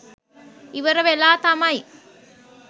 ඉවර වෙලා තමයි